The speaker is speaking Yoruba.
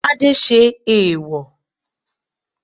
Tade ṣe eèwò